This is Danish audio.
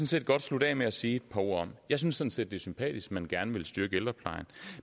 set godt slutte af med at sige et par ord om jeg synes sådan set det er sympatisk man gerne vil styrke ældreplejen